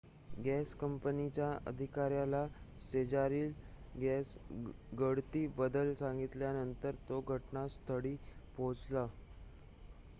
gas कंपनीच्या अधिकाऱ्याला शेजारील गॅस गळती बद्दल सांगितल्यानंतर तो घटनास्थळी पोहोचला